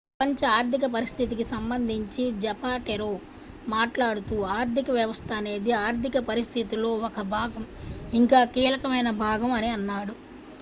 "ప్రపంచ ఆర్థిక పరిస్థితికి సంబంధించి జపాటెరో మాట్లాడుతూ "ఆర్థిక వ్యవస్థ అనేది ఆర్థిక పరిస్థితిలో ఒక భాగం ఇంకా కీలకమైన భాగం అని అన్నాడు.